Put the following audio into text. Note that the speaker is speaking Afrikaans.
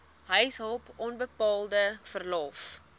huishulp onbetaalde verlof